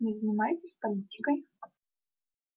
не занимаетесь политикой